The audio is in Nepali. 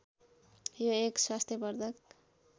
यो एक स्वास्थ्यबर्द्धक